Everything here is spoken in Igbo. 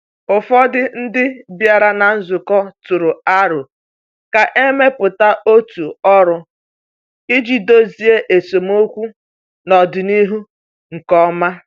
Ụfọdụ ndị bịara na nzukọ tụrụ aro ka e mepụta otu ọrụ iji dozie esemokwu n’ọdịnihu nke ọma.